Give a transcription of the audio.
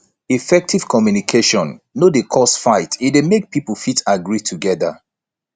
effective communication no dey cause fight e de make pipo fit agree together